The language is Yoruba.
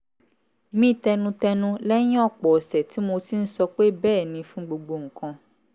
mí tẹnutẹnu lẹ́yìn ọ̀pọ̀ ọ̀sẹ̀ tí mo ti ń sọ pé bẹ́ẹ̀ ni fún gbogbo nǹkan